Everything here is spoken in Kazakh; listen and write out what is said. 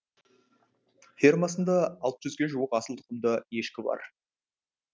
фермасында алты жүзге жуық асыл тұқымды ешкі бар